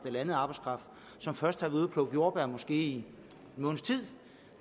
eller anden arbejdskraft som først havde plukke jordbær i måske en måneds tid